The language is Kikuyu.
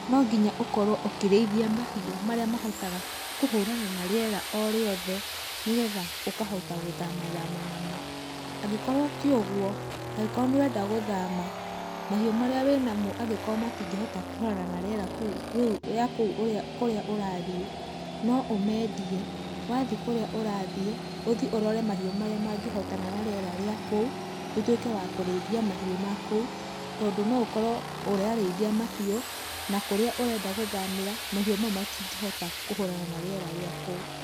No nginya ũkorwo ũkĩrĩithia mahiũ marĩa mahotaga kũhũrana na rĩera o rĩothe nĩgetha ũkahota gũthama thama namo. Angĩkorwo tiũguo, angĩkorwo nĩ ũrenda gũthama, mahiũ marĩa wĩ namo angĩkorwo matingĩhota kũhũrana na rĩera rĩa kũu kũrĩa ũrathiĩ, no ũmendie. Wathiĩ kũrĩa ũrathiĩ, ũthiĩ ũrore mahiũ marĩa mangĩhotana na rĩera rĩa kũu ũtuĩke wa kũrĩithia mahiũ makũu tondũ no ũkorwo ũrarĩithia mahiũ na kũrĩa ũrenda gũthamĩra, mahiũ mau matingĩhota kũhũrana na rĩera rĩa kũu.